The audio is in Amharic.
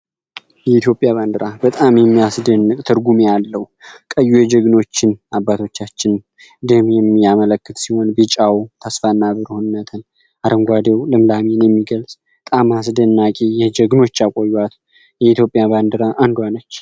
የኢትዮጵያ ባንድራ በጣም የሚያስደንቅ ትርጉም ያለው ቀዩ የጀግኖችን አባቶቻችን ደም የሚያመለክት ሲሆን፤ ቢጫው ተስፋና ብርሆነትን አረንጓዴው ልምላሚን የሚገልጽ በጣም አስድናቂ የጀግኖች ያቆዩዋት የኢትዮጵያ ባንድራ አንዷ ነች።